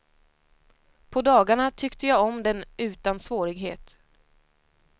På dagarna tyckte jag om den utan svårighet.